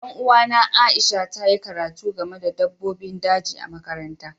Dan uwana Aisha ta yi karatu game da dabbobin daji a makaranta.